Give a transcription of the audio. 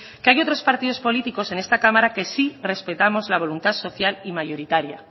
que hay otros partidos políticos en esta cámara que sí respetamos la voluntad social y mayoritaria